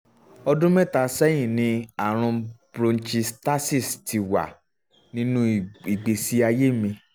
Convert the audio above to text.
ọdún mẹ́ta sẹ́yìn ni ààrùn bronchiectasis ti wà nínú ìgbésí ayé mi